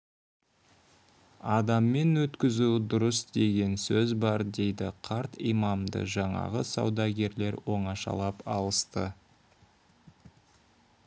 адаммен өткізу дұрыс деген сөз бар дейді қарт имамды жаңағы саудагерлер оңашалап алысты